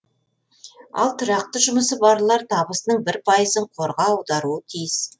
ал тұрақты жұмысы барлар табысының бір пайызын қорға аударуы тиіс